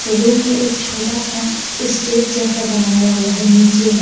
Room में एक छोटा सा स्टेज जैसा बनाया हुआ है नीचे में।